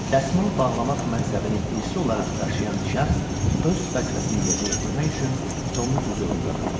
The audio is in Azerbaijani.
Dəsmal bağlamaq mənsəbini irsi olaraq daşıyan şəxs öz vəzifəsini yerinə yetirmək üçün Tomun hüzurunda durdu.